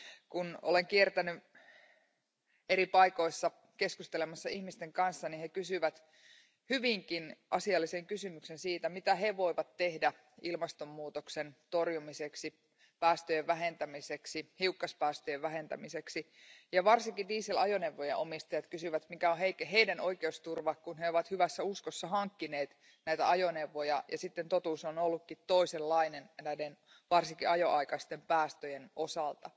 Kun olen kiertänyt eri paikoissa keskustelemassa ihmisten kanssa, he kysyvät hyvinkin asiallisen kysymyksen siitä, mitä he voivat tehdä ilmastonmuutoksen torjumiseksi, päästöjen vähentämiseksi, hiukkaspäästöjen vähentämiseksi, ja varsinkin diesel ajoneuvojen omistajat kysyvät, mikä on heidän oikeusturvansa, kun he ovat hyvässä uskossa hankkineet näitä ajoneuvoja ja sitten totuus on ollutkin toisenlainen näiden varsinkin ajoaikaisten päästöjen osalta.